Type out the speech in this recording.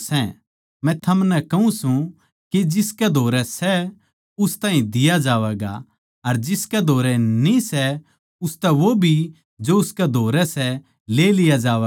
मै थमनै कहूँ सूं के जिसकै धोरै सै उस ताहीं दिया जावैगा अर जिसकै धोरै न्ही सै उसतै वो भी जो उसकै धोरै सै ले लिया जावैगा